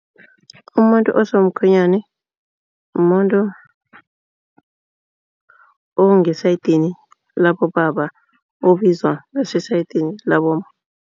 Umuntu osomkhwenyani mumuntu osesayidini labobaba ubizwa ngesayidini labomma.